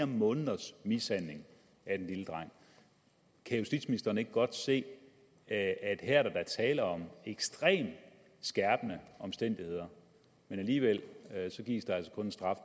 måneders mishandling af den lille dreng kan justitsministeren ikke godt se at her er der da tale om ekstremt skærpende omstændigheder men alligevel gives der altså kun en straf